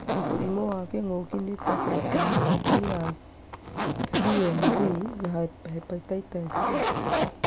Mũrimũ wa kĩngũki nĩ ta cytomegalovirus(CMV) na hepatitis C.